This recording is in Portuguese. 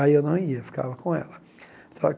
Aí eu não ia, ficava com ela.